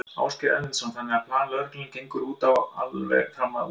Ásgeir Erlendsson: Þannig að plan lögreglunnar gengur út á alveg fram að úrslitaleik?